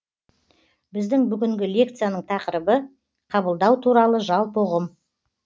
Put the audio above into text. біздің бүгінгі лекцияның тақырыбы қабылдау туралы жалпы ұғым